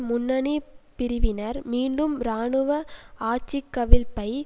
முன்னணி பிரிவினர் மீண்டும் இராணுவ ஆட்சிக்கவிழ்ப்பை